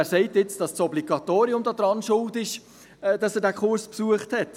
Wer sagt nun, dass das Obligatorium daran schuld ist, dass er diesen Kurs besucht hat?